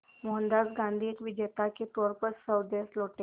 मोहनदास गांधी एक विजेता के तौर पर स्वदेश लौटे